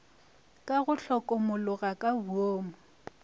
ka go hlokomologa ka boomo